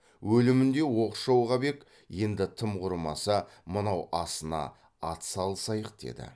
өлімінде оқшау қап ек енді тым құрымаса мынау асына ат салысайық деді